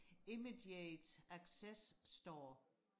immediate access store